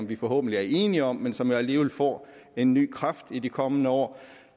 vi forhåbentlig er enige om men som jo alligevel får en ny kraft i de kommende år